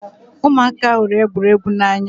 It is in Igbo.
Ụmụaka hụrụ egwuregwu n'anya